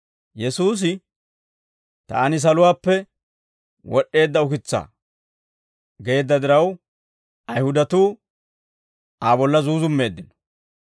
Yesuusi, «Taani saluwaappe wod'd'eedda ukitsaa» geedda diraw, Ayihudatuu Aa bolla zuuzummeeddino.